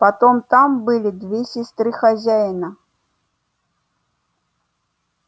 потом там были две сестры хозяина